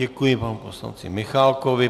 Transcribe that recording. Děkuji panu poslanci Michálkovi.